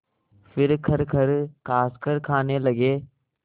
फिर खरखर खाँसकर खाने लगे